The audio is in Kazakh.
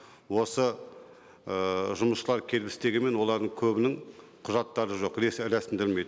осы ііі жұмысшылар істегенмен олардың көбінің құжаттары жоқ рәсімделмейді